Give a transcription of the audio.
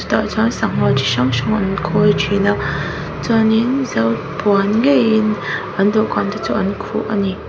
tah chuan sangha chi hrang hrang an khawi ṭhin a chuanin zo puan ngeiin an dawhkan te chu an khuh ani.